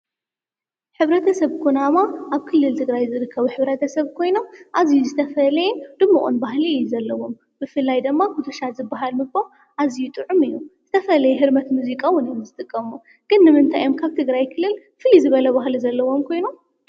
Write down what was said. ሕብረተሰብ ኩናማ ኣብ ክልል ትግራይ ዝርከቡ ሕብረተሰብ ኮይኖም ኣዙዩ ዝተፈለየ ድሙቅን ባህሊ እዩ ዘለዎም። ብፍላይ ድማ ኩትሻ ዝበሃል ምግቦም ኣዝዩ ጥዑም እዩ። ዝተፈለየ ህርመት ሙዚቃ እውን እዮም ዝጥቀሙ። ግን ንምንታይ እዮም ካብ ትግራይ ክልል ፍልይ ዝበለ ባህሊ ዘለዎም ኮይኑ?